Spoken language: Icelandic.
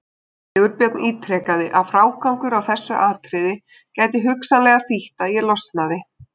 Sigurbjörn ítrekaði að frágangur á þessu atriði gæti hugsanlega þýtt að ég losnaði.